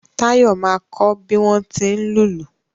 Táyọ̀ máa kọ bí wọ́n tí ń lùlù